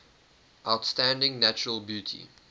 outstanding natural beauty